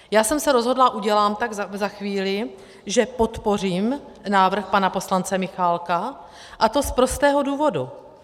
Já jsem se rozhodla, udělám tak za chvíli, že podpořím návrh pana poslance Michálka, a to z prostého důvodu.